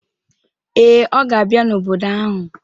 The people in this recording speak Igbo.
Ee, ọ ga abia n'obodo ahụ